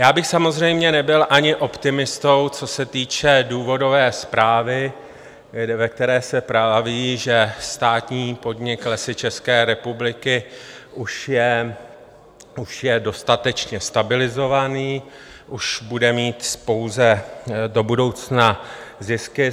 Já bych samozřejmě nebyl ani optimistou, co se týče důvodové zprávy, ve které se praví, že státní podnik Lesy České republiky už je už je dostatečně stabilizovaný, už bude mít pouze do budoucna zisky.